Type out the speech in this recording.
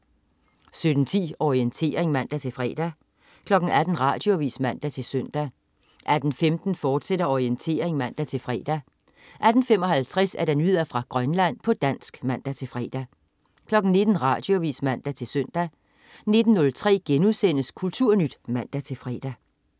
17.10 Orientering (man-fre) 18.00 Radioavis (man-søn) 18.15 Orientering, fortsat (man-fre) 18.55 Nyheder fra Grønland, på dansk (man-fre) 19.00 Radioavis (man-søn) 19.03 Kulturnyt* (man-fre)